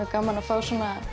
gaman að fá